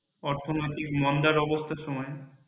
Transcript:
অর্থনৈতিক মন্দার অবস্থার সময়